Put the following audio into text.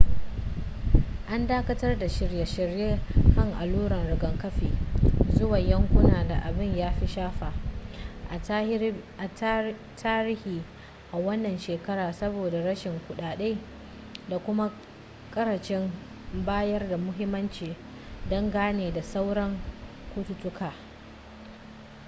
an dakatar da shirye-shiryen kai alluran rigakafi zuwa yankunan da abin ya fi shafa a tarihi a wannan shekara saboda rashin kuɗaɗe da kuma ƙarancin bayar da muhimmanci dangane da sauran cututtuka